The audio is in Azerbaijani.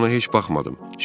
Mən ona heç baxmadım.